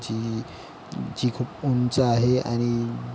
जी जी खुप उंच आहे आणि --